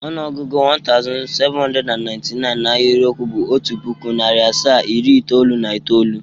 Ọnụọgụgụ 1799 na ahịrịokwu bụ otu pụkụ, narị asaa, iri itoolu na itoolu.